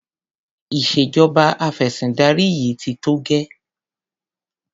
Ìṣèjọba afẹ̀sìndarí yìí ti tó gẹ́.